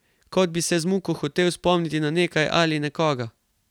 Kot bi se z muko hotel spomniti na nekaj ali na nekoga.